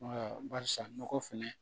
Wala barisa nɔgɔ fɛnɛ